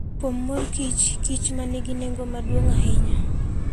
Kuom mor kich ,kich ma nigi nengo maduong' ahinya.